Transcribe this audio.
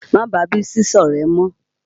Má bàá Bísí sọ̀rẹ́ mọ́!